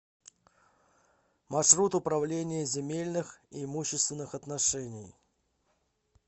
маршрут управление земельных и имущественных отношений